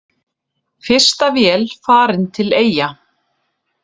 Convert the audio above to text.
Fyrsta vél farin til Eyja